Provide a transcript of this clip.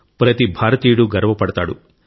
ప్రతి భారతీయుడు గర్వపడతాడు